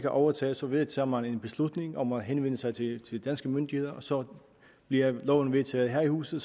overtaget så vedtager man en beslutning om at henvende sig til de danske myndigheder så bliver loven vedtaget her i huset